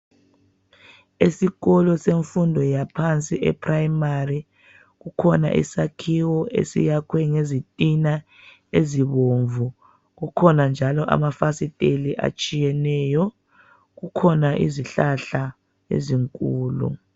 Esikolo semfundo yaphansi eprimary kukhona isakhiwo esiyakhwe ngezitina ezibomvu kukhona njalo amafasiteli atshiyeneyo kukhona izihlahla ezinkulu.